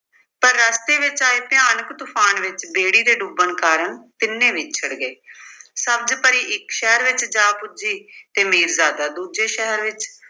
ਪਰ ਰਸਤੇ ਵਿੱਚ ਆਏ ਭਿਆਨਕ ਤੂਫ਼ਾਨ ਵਿੱਚ ਬੇੜੀ ਦੇ ਡੁੱਬਣ ਕਾਰਨ ਤਿੰਨੇ ਵਿਛੜ ਗਏ। ਸਬਜ਼ ਪਰੀ ਇੱਕ ਸ਼ਹਿਰ ਵਿੱਚ ਜਾ ਪੁੱਜੀ ਤੇ ਮੀਰਜ਼ਾਦਾ ਦੂਜੇ ਸ਼ਹਿਰ ਵਿੱਚ